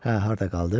Hə, harda qaldıq?